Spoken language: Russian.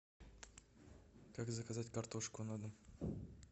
как заказать картошку на дом